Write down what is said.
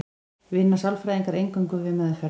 vinna sálfræðingar eingöngu við meðferð